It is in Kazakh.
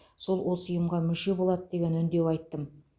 сол осы ұйымға мүше болады деген үндеу айттым